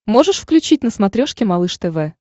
можешь включить на смотрешке малыш тв